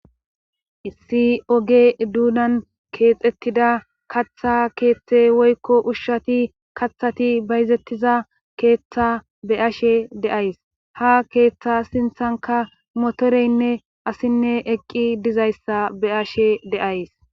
Issi oge duudan keexettida katha keeththe woykko ushshati kaththati bayzettiza keeththa be ashe deays ha keeththa sinthanka motoreynne asinne eqqi dizayssa be ashe deays